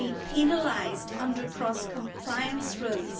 penalised under cross compliance rules.